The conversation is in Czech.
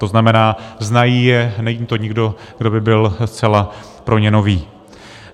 To znamená, znají je, není to nikdo, kdo by byl zcela pro ně nový.